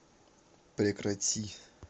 прекрати